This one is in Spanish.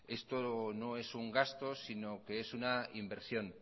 esto no es un gasto sino que es una inversión